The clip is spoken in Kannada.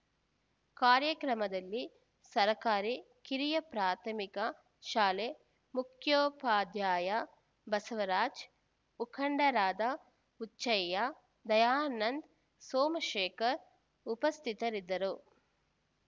ಕಾರ್ಯಕ್ರಮದಲ್ಲಿ ಸರ್ಕಾರಿ ಕಿರಿಯ ಪ್ರಾಥಮಿಕ ಶಾಲೆ ಮುಖ್ಯೋಪಾಧ್ಯಾಯ ಬಸವರಾಜ್‌ ಮುಖಂಡರಾದ ಹುಚ್ಚಯ್ಯ ದಯಾನಂದ್‌ ಸೋಮಶೇಖರ್‌ ಉಪಸ್ಥಿತರಿದ್ದರು